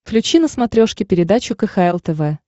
включи на смотрешке передачу кхл тв